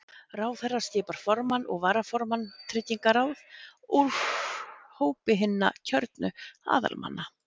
Ráðherra skipar formann og varaformann tryggingaráð úr hópi hinna kjörnu aðalmanna.